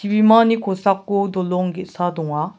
bimani kosako dolong ge·sa donga.